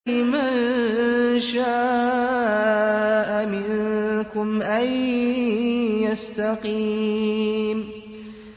لِمَن شَاءَ مِنكُمْ أَن يَسْتَقِيمَ